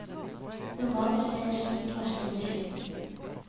Normalt skjer slik varsling med skilt.